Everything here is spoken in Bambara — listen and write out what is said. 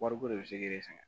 Wariko de bɛ se k'i sɛgɛn